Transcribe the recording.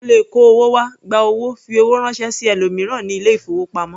O lè kó owó wá, gba owó, fi owó ránṣẹ́ sí ẹlòmíràn ní ilé-ìfowópamọ́.